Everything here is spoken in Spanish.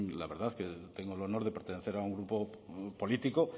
la verdad que tengo el honor de pertenecer a un grupo político